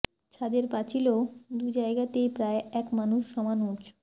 ছাদের পাঁচিলও দু জায়গাতেই প্রায় এক মানুষ সমান উচুঁ